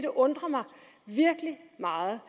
undrer mig meget